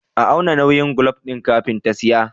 A auna nauyin gwal din kafin ta siya